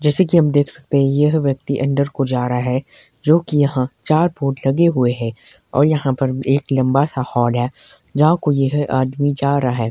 जैसे कि हम देख सकते हैं यह व्यक्ति अंदर को जा रहा है जो कि यहां चार बोर्ड लगे हुए हैं और यहां पर एक लंबा सा हाल है को यह आदमी जा रहा है।